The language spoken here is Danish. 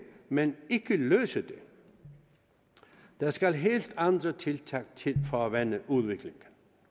men ikke løse det der skal helt andre tiltag til for at vende udviklingen